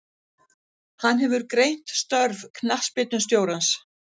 Hann hefur greint störf knattspyrnustjórans.